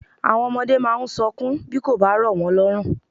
Àwọn ọmọdé máa ń sọkún bí kò bá rọ̀ wọ́n lọ́rùn.